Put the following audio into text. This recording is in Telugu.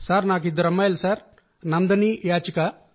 నా కూతుళ్లు నందిని యాచిక